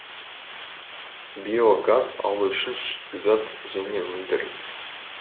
биогаз алу үшін шикізат және өндіріс